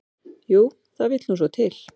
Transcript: """Jú, það vill nú svo til."""